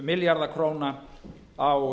milljarða króna á